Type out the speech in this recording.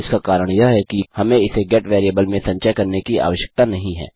इसका कारण यह है कि हमें इसे गेट वेरिएबल में संचय करने की आश्यकता नहीं है